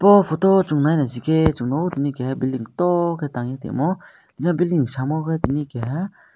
o photo swng nai naisike swngno o tini kaha bilding to ke tangui tongmo ya bilding samo tini kaha.